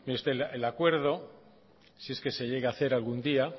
mire usted el acuerdo si es que se llega a hacer algún día